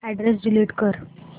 address delete कर